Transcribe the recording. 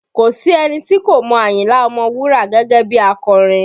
Kò sí ẹni tí kò mọ Ayinla Ọmọwura gẹ́gẹ́ bí akọrin